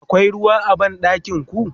akwai ruwa a banɗakinku?